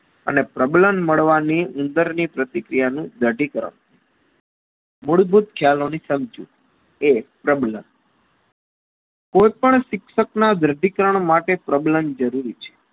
અને પ્રબલણ મળવાની ઉંદરની પ્રતિ ક્રિયાનું દઠીકરણ મૂળભૂત ખ્યાલોની સમજૂતી એ પરબલન કોઈપણ શિક્ષકના દાઢીકરણ માટે problem જરૂરી છે.